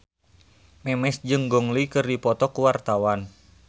Memes jeung Gong Li keur dipoto ku wartawan